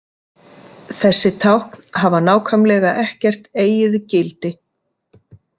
Þessi tákn hafa nákvæmlega ekkert eigið gildi.